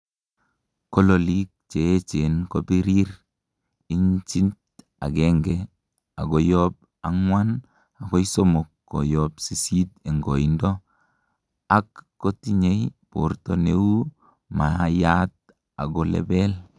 kololik cheechen kobirir, inchit agengei koyob anguan agoi somok koyob sisit en koindo, ak kotinyei borto neu maayat ago lebel